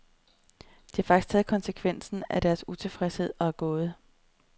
De har faktisk taget konsekvensen af deres utilfredshed og er gået.